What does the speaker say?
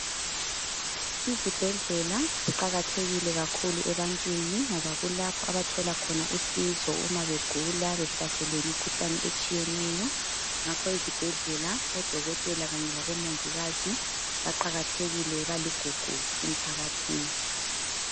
Izibhedlela ziqakathekile kakhulu ebantwini ngoba kulapho abathola khona usizo uma begula behlaselwe yimikhuhlane etshiyeneyo, ngakho ezibhedlela odokotela kanye labomongikazi baqakathekile njalo baligugu emphakathini.